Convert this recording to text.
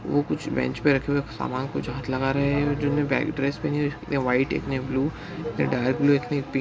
वो कुछ बेंच पे रखे हुए समान कुछ हाथ लगा रहे है जिन्होंने ब्लैक ड्रेस पहनी हुई एक ने व्हाइट एक ने ब्लू एक ने डार्क ब्लू एक ने पिंक --